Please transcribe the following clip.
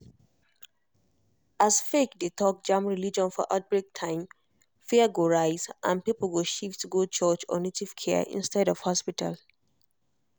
as fake dey talk jam religion for outbreak time fear go rise and people go shift go church or native care instead of hospital.